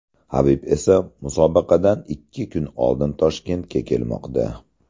Habib esa musobaqadan ikki kun oldin Toshkentga kelmoqda.